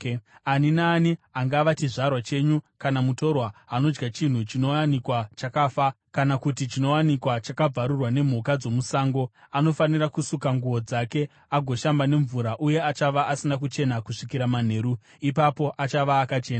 “ ‘Ani naani, angava chizvarwa chenyu kana mutorwa, anodya chinhu chinowanikwa chakafa, kana kuti chinowanikwa chakabvarurwa nemhuka dzomusango, anofanira kusuka nguo dzake agoshamba nemvura uye achava asina kuchena kusvikira manheru; ipapo achava akachena.